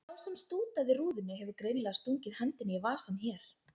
Sá sem stútaði rúðunni hefur greinilega stungið hendinni í vasann hér.